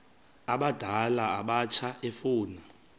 abadala abatsha efuna